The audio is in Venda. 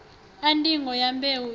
a ndingo ya mbeu i